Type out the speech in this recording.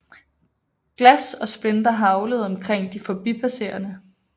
Glas og splinter haglede omkring de forbipasserende